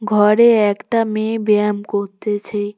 ঘরে একটা মেয়ে ব্যায়াম কত্তেছে।